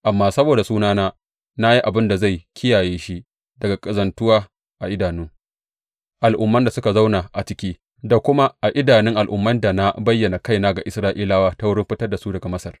Amma saboda sunana na yi abin da zai kiyaye shi daga ƙazantuwa a idanun al’umman da suka zauna a ciki da kuma a idanun al’ummai da na bayyana kaina ga Isra’ilawa ta wurin fitar da su daga Masar.